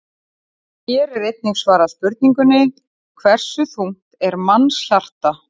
Hér er einnig svarað spurningunni: Hversu þungt er mannshjarta?